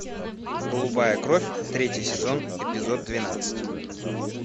голубая кровь третий сезон эпизод двенадцать